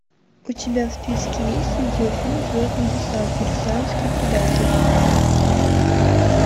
у тебя в списке есть видеофильм звездный десант марсианский предатель